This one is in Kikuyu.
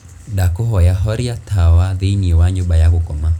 ndakūhoya horia tawa thīinī wa nyūmba ya gūkoma